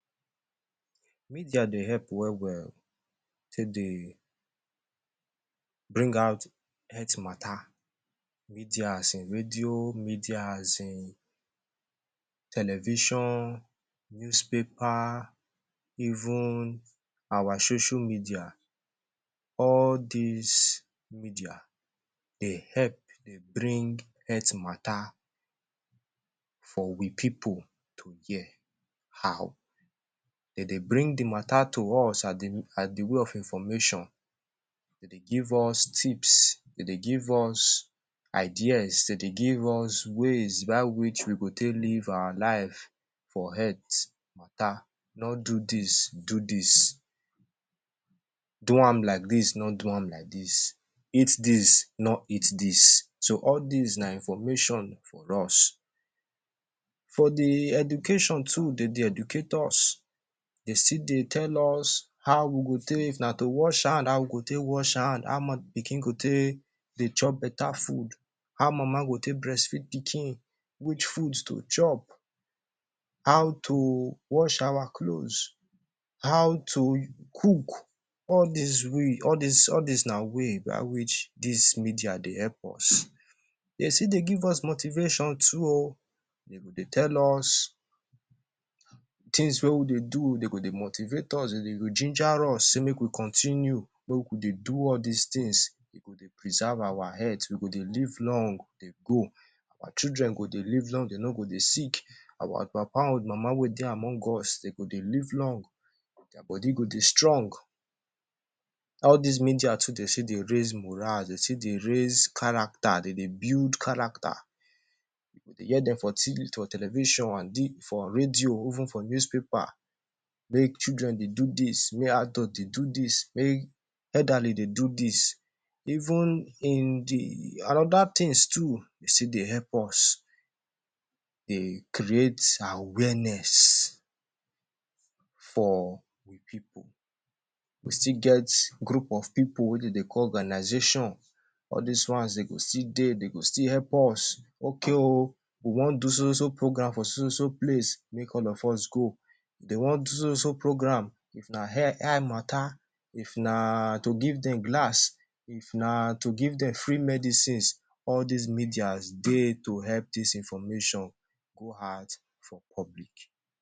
Media dey help well-well take dey bring out health matter. Media as in radio, media as in television, newspaper, even our social media. All dis media dey help dey bring health matter for we pipu to hear. How? De dey bring the matter to us the the way of information. De dey give us tips, de dey give us ideas, de dey give us ways by which we go take live our life for health matter— no do dis, do dis; do am like dis, no do am like dis; eat dis, no eat dis. So, all dis na information for us. For the education too, de dey educate us. De still dey tell us how we go take na to wash hand, how we go take wash hand, how pikin go take dey chop beta food, how mama go take breastfeed pikin, which food to chop, how to wash our clothes, how to cook. All dis way all dis all dis na way by which dis media dey help us. De still de give us motivation too oh. De go dey tell us tins wey we dey do. De go dey motivate us, de de go ginger us sey make we continue, make we dey do all dis tins, de go dey preserve our health, we go dey live long dey go. Our children go dey live long, de no go dey sick; our papa an mama wey dey among us, de go dey live long, dia body go dey strong. All dis media too, de say dey raise morale, de still dey raise character, de dey build character. You go dey hear dem for for television, an for radio, even for newspaper make children dey do dis, make adult dey do dis, make elderly dey do dis. Even in the an other tins too, e still dey help us dey create awareness for we pipu. We still get group of pipu wey de dey call organization. All dis ones dey go still dey, de go still help us. Okay oh, we wan do so-so-so program for so-so-so place make all of us go. If de wan do so-so-so program, if na ear, eye matter, if na to give dem glass, if na to give dem free medicines, all dis medias dey to help dis information go out for public